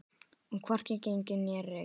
Og hvorki gengið né rekið.